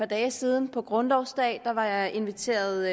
dage siden på grundlovsdagen var jeg inviteret